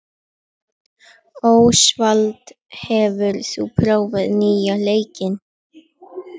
Ósvald, hefur þú prófað nýja leikinn?